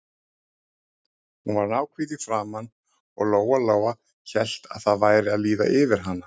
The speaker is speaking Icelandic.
Hún var náhvít í framan og Lóa-Lóa hélt að það væri að líða yfir hana.